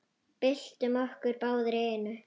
Byltum okkur báðar í einu.